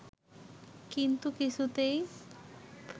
কিন্তু কিছুতেই